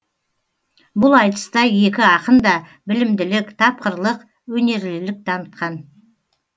бұл айтыста екі ақын да білімділік тапқырлық өнерлілік танытқан